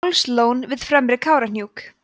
hálslón við fremri kárahnjúk